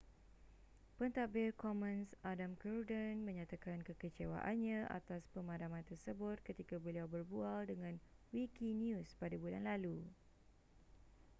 pentadbir commons adam cuerden menyatakan kekecewaannya atas pemadaman tersebut ketika beliau berbual dengan wikinews pada bulan lalu